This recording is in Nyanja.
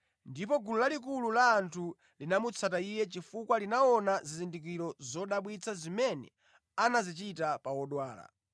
ndipo gulu lalikulu la anthu linamutsata Iye chifukwa linaona zizindikiro zodabwitsa zimene anazichita pa odwala.